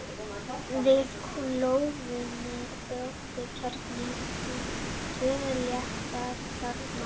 Við klofnunina brotnar kjarninn upp í tvo léttari kjarna.